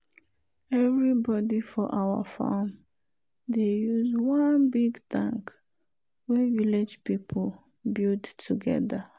everybody for our farm dey use one big tank wey village people build together.